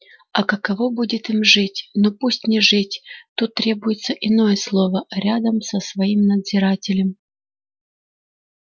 а каково будет им жить ну пусть не жить тут требуется иное слово рядом со своим надзирателем